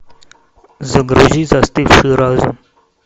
загрузи застывший разум